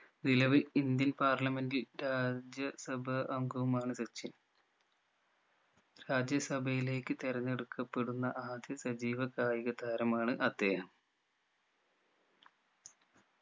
നിലവിൽ indian parliament ൽ രാജ്യസഭ അംഗവുമാണ് സച്ചിൻ രാജ്യസഭയിലേക്ക് തിരഞ്ഞെടുക്കപ്പെടുന്ന ആദ്യ സജീവ കായിക താരമാണ് അദ്ദേഹം